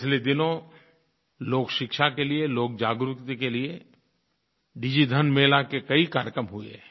पिछले दिनों लोकशिक्षा के लिये लोकजागृति के लिये डिजिधन मेला के कई कार्यक्रम हुए हैं